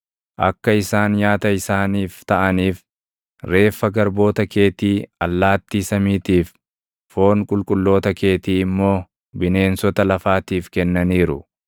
Akka isaan nyaata isaaniif taʼaniif, reeffa garboota keetii allaattii samiitiif, foon qulqulloota keetii immoo bineensota lafaatiif kennaniiru.